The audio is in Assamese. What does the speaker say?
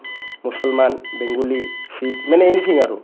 মুছলমান, বেংগলী, শিখ মানে anything আৰু